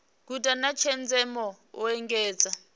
guda na tshenzhemo u engedza